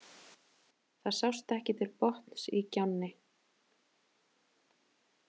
Það sást ekki til botns í gjánni.